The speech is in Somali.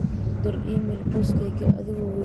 u dir iimayl qoyskayga adigoo weydinaysid xaaladooda